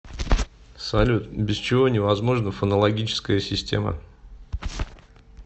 салют без чего невозможна фонологическая система